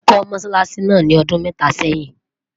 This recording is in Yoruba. wón kò mosálási nà ní ọdún méta sẹyìn